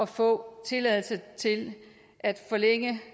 få tilladelse til at forlænge